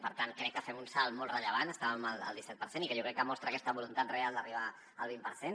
per tant crec que fem un salt molt rellevant estàvem al disset per cent i que jo crec que mostra aquesta voluntat real d’arribar al vint per cent